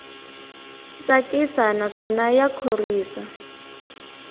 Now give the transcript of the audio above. tsakisa naswona ya khorwisa